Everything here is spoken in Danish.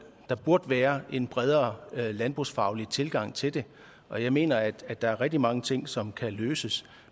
der burde være en bredere landbrugsfaglig tilgang til det og jeg mener at der er rigtig mange ting som kan løses